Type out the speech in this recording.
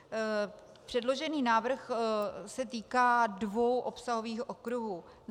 Předložený návrh se týká dvou obsahových okruhů.